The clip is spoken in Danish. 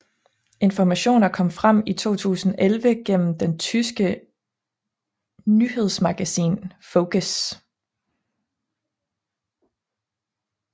Informationer kom frem i 2011 gennem det tyske nyhedsmagasin Focus